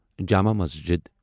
Jama Masjid